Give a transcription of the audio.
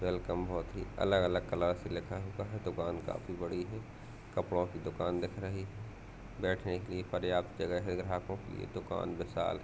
Welcome बोहोत ही अलग-अलग कलर से लिखा हुआ है। दुकान काफी बड़ी है। कपड़ों की दुकान दिख रही है। बैठने के लिए पर्याप्त जगह है। ग्राहकों के लिए दुकान विशाल